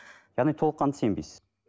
яғни толыққанды сенбейсіз